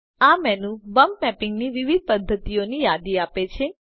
આ menu bump મેપિંગની વિવિધ પદ્ધતિઓની યાદી આપે છે